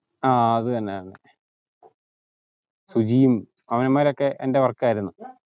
ആ അത് തന്നെ അത് തന്നെ സുജിയും അവന്മാരൊക്കെ എൻ്റെ work ആയിരുന്നു